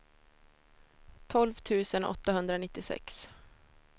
tolv tusen åttahundranittiosex